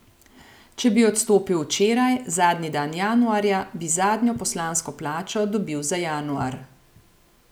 Če bi odstopil včeraj, zadnji dan januarja, bi zadnjo poslansko plačo dobil za januar.